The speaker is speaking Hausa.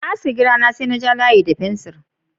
Na sassake gira na, sai na ja layi da fensir.